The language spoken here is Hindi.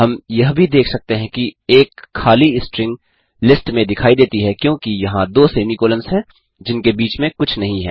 हम यह भी देख सकते हैं कि एक खाली स्ट्रिंग लिस्ट में दिखाई देती है क्योंकि यहाँ दो सेमी कॉलन्स हैं जिनके बीच में कुछ नहीं हैं